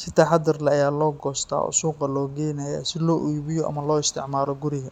si taxaddar leh ayaa loo goostaa oo suuqa loo geynayaa si loo iibiyo ama loo isticmaalo guriga.